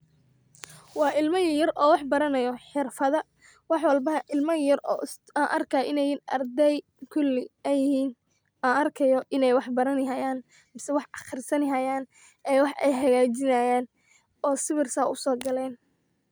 Wa ilama yaryar o wax baranayo xirfada, wax walbana ilama yaryar an arkay inay yihin ardey kuli ay yihin an arkayo inay baranihayan mise wax aqrusanihayan ee wax ayhagajinihayan oo sawir saa u sogalen.